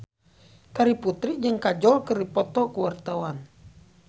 Terry Putri jeung Kajol keur dipoto ku wartawan